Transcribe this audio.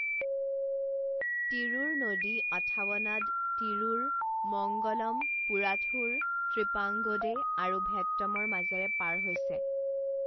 তিৰুৰ নদী অথাৱনাড, তিৰুৰ, মংগলম, পুৰাথুৰ, ত্ৰিপ্ৰাংগোডে আৰু ভেট্টমৰ মাজেৰে পাৰ হৈছে।